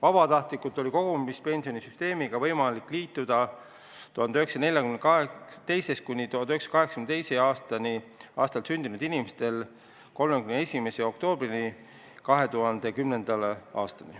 Ajavahemikus 1942–1982 sündinud inimestel oli võimalik vabatahtlikult kogumispensionisüsteemiga liituda 31. oktoobrini 2010. aastal.